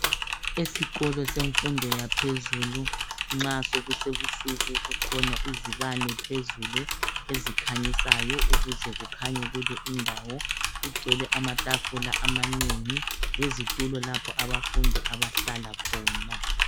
esikolo semfundo yaphezulu nxa sokusebusuku kukhona izibane phezulu ezikhanyisayo ukuze kukhanye kule indawo kugcwele amatafula amanengi lezitulo lapho abafundi abahlala khona